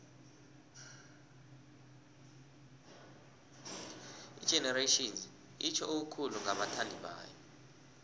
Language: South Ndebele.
igenerations itjho okukhulu kubathandibayo